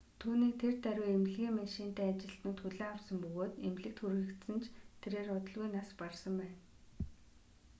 түүнийг тэр даруй эмнэлгийн машинтай ажилтнууд хүлээн авсан бөгөөд эмнэлэгт хүргэсэн ч тэрээр удалгүй нас барсан байна